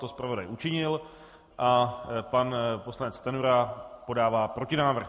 To zpravodaj učinil a pan poslanec Stanjura podává protinávrh.